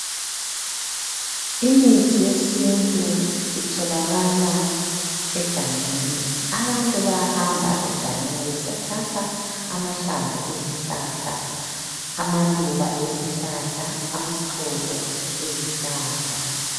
Imithi yesintu itholakala egangeni, abantu bayahamba egangeni besiyathatha amahlamvu ezihlahla, amaluba ezihlahla, amaxolo ezihlahla.